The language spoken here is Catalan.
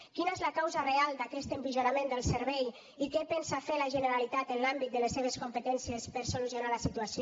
quina és la causa real d’aquest empitjorament del servei i què pensa fer la generalitat en l’àmbit de les seves competències per solucionar la situació